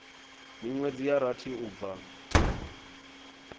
minwedzi ya rathi u bva